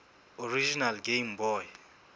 original game boy